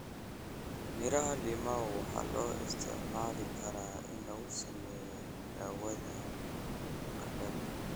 Miraha limau waxaa loo isticmaali karaa in lagu sameeyo daawada qandhada.